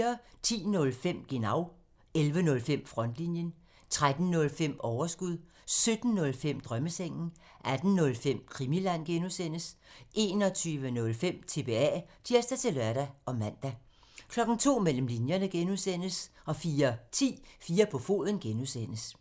10:05: Genau (tir) 11:05: Frontlinjen (tir) 13:05: Overskud (tir) 17:05: Drømmesengen 18:05: Krimiland (G) (tir) 21:05: TBA (tir-lør og man) 02:00: Mellem linjerne (G) (tir) 04:10: 4 på foden (G) (tir)